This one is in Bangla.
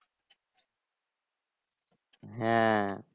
হ্যাঁ